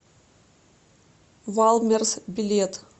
валмерс билет